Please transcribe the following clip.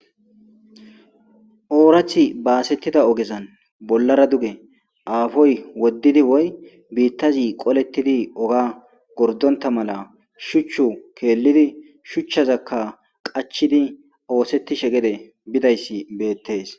oorathi baasettida ogezan bollara duge aafoy woddidi woy biittazi qolettidi oga gordonta mala shuchchu keellidi shuchchazakka qachidi oosettishe gede bidayssi beettees